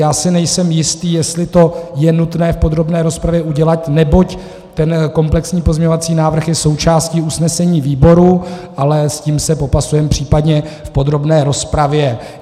Já si nejsem jistý, jestli to je nutné v podrobné rozpravě udělat, neboť ten komplexní pozměňovací návrh je součástí usnesení výboru, ale s tím se popasujeme případně v podrobné rozpravě.